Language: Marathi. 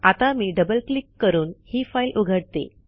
आता मी डबल क्लिक करून ही फाईल उघडते